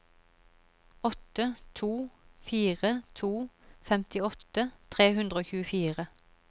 åtte to fire to femtiåtte tre hundre og tjuefire